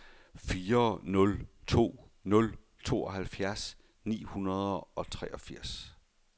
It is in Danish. fire nul to nul tooghalvfjerds ni hundrede og treogfirs